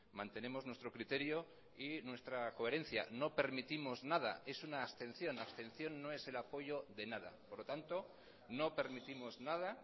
mantenemos nuestro criterio y nuestra coherencia no permitimos nada es una abstención abstención no es el apoyo de nada por lo tanto no permitimos nada